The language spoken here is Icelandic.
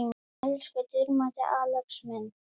Elsku dýrmæti Axel minn.